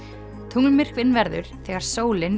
tunglmyrkvinn verður þegar sólin